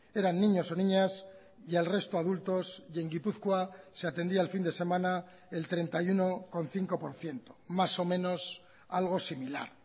eran niños o niñas y el resto adultos y en gipuzkoa se atendía el fin de semana el treinta y uno coma cinco por ciento más o menos algo similar